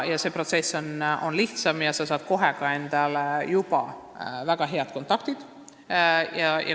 See protsess on lihtsam ja sa saad töö käigus kohe väga head kontaktid.